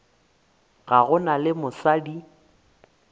ga go na le mosadi